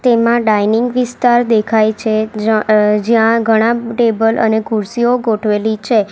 એમાં ડાઇનિંગ વિસ્તાર દેખાય છે જાં જ્યાં ઘણા ટેબલ અને ખુરસીઓ ગોઠવેલી છે.